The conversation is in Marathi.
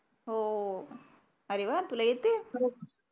हो हो अरे वा तुला येतंय